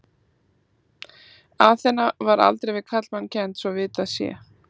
Aþena var aldrei við karlmann kennd svo að vitað sé.